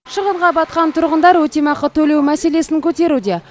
шығынға батқан тұрғындар өтемақы төлеу мәселесін көтеруде